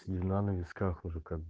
седина на висках уже как бы